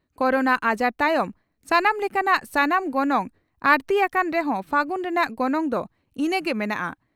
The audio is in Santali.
ᱠᱚᱨᱳᱱᱟ ᱟᱡᱟᱨ ᱛᱟᱭᱚᱢ ᱥᱟᱱᱟᱢ ᱞᱮᱠᱟᱱᱟᱜ ᱥᱟᱢᱟᱱ ᱜᱚᱱᱚᱝ ᱟᱹᱲᱛᱤ ᱟᱠᱟᱱ ᱨᱮᱦᱚᱸ ᱯᱷᱟᱹᱜᱩᱱ ᱨᱮᱱᱟᱜ ᱜᱚᱱᱚᱝ ᱫᱚ ᱤᱱᱟᱹᱝ ᱜᱮ ᱢᱮᱱᱟᱜᱼᱟ ᱾